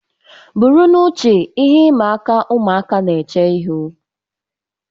Buru n'uche ihe ịma aka ụmụaka na-eche ihu